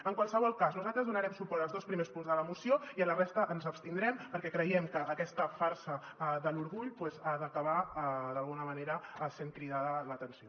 en qualsevol cas nosaltres donarem suport als dos primers punts de la moció i a la resta ens abstindrem perquè creiem que aquesta farsa de l’orgull ha d’acabar d’alguna manera sent cridada a l’atenció